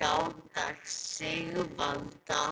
gáta Sigvalda